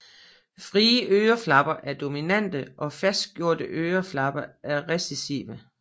Frie øreflipper er dominante og fastgroede øreflipper er recessive